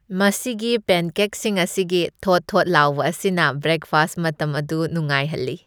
ꯃꯁꯤꯒꯤ ꯄꯦꯟꯀꯦꯛꯁꯤꯡ ꯑꯁꯤꯒꯤ ꯊꯣꯠ ꯊꯣꯠ ꯂꯥꯎꯕ ꯑꯁꯤꯅ ꯕ꯭ꯔꯦꯛꯐꯥꯁꯠ ꯃꯇꯝ ꯑꯗꯨ ꯅꯨꯡꯉꯥꯏꯍꯜꯂꯤ ꯫